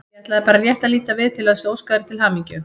Ég ætlaði bara rétt að líta við til þess að óska þér til hamingju.